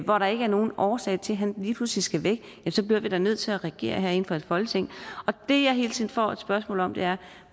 hvor der ikke er nogen årsag til at han lige pludselig skal væk bliver vi da nødt til at reagere herinde fra folketinget det jeg hele tiden får et spørgsmål om er